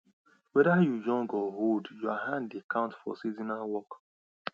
whether you young or old your hand dey count for seasonal work